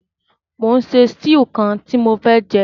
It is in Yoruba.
Mo n se stew kan ti mo fé jẹ